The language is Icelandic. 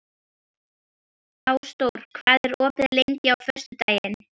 Ásdór, hvað er opið lengi á föstudaginn?